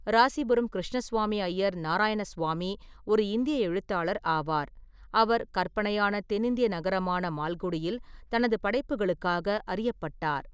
ராசிபுரம் கிருஷ்ணசுவாமி ஐயர் நாராயணசுவாமி ஒரு இந்திய எழுத்தாளர் ஆவார், அவர் கற்பனையான தென்னிந்திய நகரமான மால்குடியில் தனது படைப்புகளுக்காக அறியப்பட்டார்.